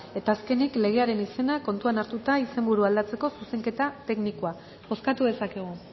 eta azkenik legearen izena kontuan hartuta izenburu aldatzeko zuzenketa teknikoa bozkatu dezakegu